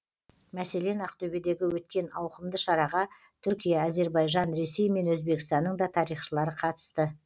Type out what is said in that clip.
мәселен ақтөбедегі өткен ауқымды шараға түркия әзербайжан ресей мен өзбекстанның да тарихшылары қатысты